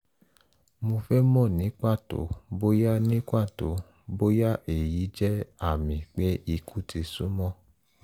mo fẹ́ mọ̀ ní pàtó bóyá ní pàtó bóyá èyí jẹ́ àmì pé ikú ti súnmọ́